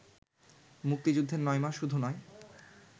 মুক্তিযুদ্ধের নয় মাস শুধু নয়